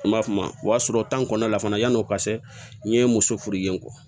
N b'a f'o ma o y'a sɔrɔ tan kɔnɔna la fana yan'o ka se n ye muso furu yen n kɔ